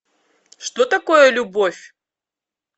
что такое любовь